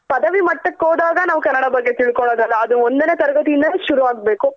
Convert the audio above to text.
ಪದವಿ ಮಟ್ಟಕ್ ಹೋದಾಗ ನಾವ್ ಕನ್ನಡ ಬಗ್ಗೆ ತಿಳ್ಕೊಳೂದಲ್ಲ ಅದು ಒಂದನೇ ತರಗತಿ ಇಂದಾನೆ ಶುರು ಆಗ್ಬೇಕು.